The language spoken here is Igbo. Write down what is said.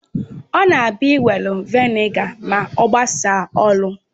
Ọ na abia iwere Vị́nịga ma ogasa ọrụ